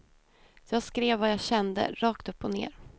Jag skrev vad jag kände, rakt upp och ner.